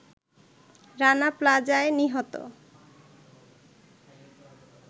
রানা প্লাজায় নিহত